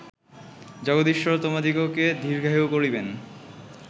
জগদীশ্বর তোমাদিগকে দীর্ঘায়ু করিবেন